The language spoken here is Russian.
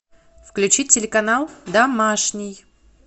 включи телеканал домашний